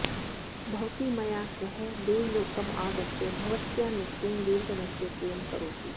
भवती मया सह देवलोकम् आगत्य भवत्याः नृत्येन देवगणस्य प्रियं करोतु